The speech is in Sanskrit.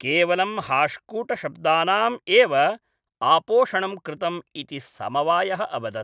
केवलं हाश्कूटशब्दानाम् एव आपोषणं कृतम् इति समवायः अवदत्।